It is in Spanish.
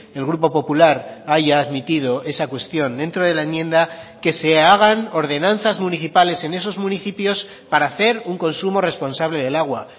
el grupo popular haya admitido esa cuestión dentro de la enmienda que se hagan ordenanzas municipales en esos municipios para hacer un consumo responsable del agua